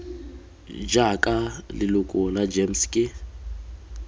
jaaka leloko la gems ke